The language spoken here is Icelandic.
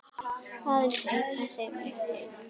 Aðeins einn þeirra lét lífið.